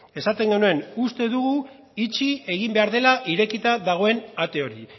esaten genuen uste dugu itxi egin behar dela irekita dagoen ate hori